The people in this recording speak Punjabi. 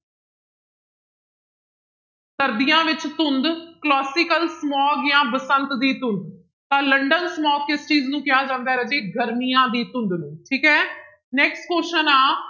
ਸਰਦੀਆਂ ਵਿੱਚ ਧੁੰਦ classical smog ਜਾਂ ਬਸੰਤ ਦੀ ਧੁੰਦ, ਤਾਂ ਲੰਡਨ smog ਕਿਸ ਚੀਜ਼ ਨੂੰ ਕਿਹਾ ਜਾਂਦਾ ਹੈ ਰਾਜੇ ਗਰਮੀਆਂ ਦੀ ਧੁੰਦ ਨੂੰ ਠੀਕ ਹੈ next question ਆਂ